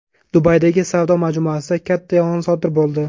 Dubaydagi savdo majmuasida katta yong‘in sodir bo‘ldi.